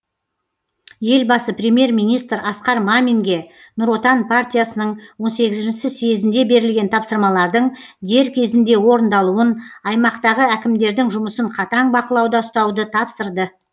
елбасы премьер министр асқар маминге нұр отан партиясының он сегізші съезінде берілген тапсырмалардың дер кезінде орындалуын аймақтағы әкімдердің жұмысын қатаң бақылауда ұстауды тапсырды